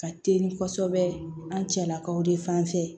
Ka teli kosɛbɛ an cɛlakaw de fan fɛ